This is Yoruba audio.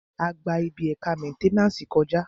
A gba ibi ẹ̀ka mẹ́nténàsì kọ̀já